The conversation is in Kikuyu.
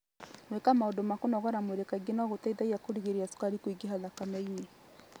Gwĩka maũndũ ma kũnogora mwĩrĩ kaingĩ no gũteithie kũgirĩrĩria cukari kũingĩha thakame-inĩ.